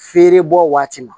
Feere bɔ waati ma